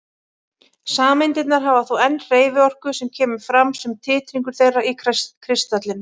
Sameindirnar hafa þó enn hreyfiorku sem kemur fram sem titringur þeirra í kristallinum.